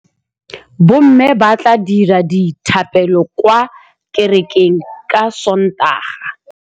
Bommê ba tla dira dithapêlô kwa kerekeng ka Sontaga.